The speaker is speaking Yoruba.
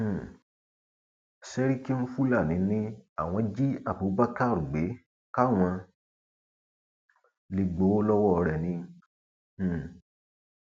um sẹríkínfúlani ni àwọn jí abubakar gbé káwọn lè gbowó lọwọ rẹ ni um